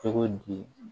Cogo di